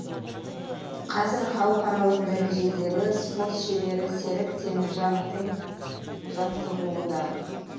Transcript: қазір халықаралық дәрежедегі спорт шебері серік теміржановтың жаттығуында